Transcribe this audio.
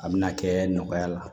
A bɛna kɛ nɔgɔya la